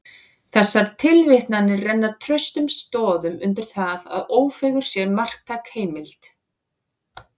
Þessar tilvitnanir renna traustum stoðum undir það, að Ófeigur sé marktæk heimild.